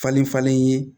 Falen falen ye